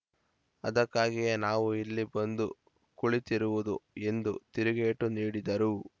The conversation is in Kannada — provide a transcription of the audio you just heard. ಅದಕ್ಕಾಗಿಯೇ ನಾವು ಇಲ್ಲಿ ಬಂದು ಕುಳಿತಿರುವುದು ಎಂದು ತಿರುಗೇಟು ನೀಡಿದರು